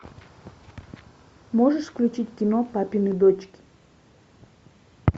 можешь включить кино папины дочки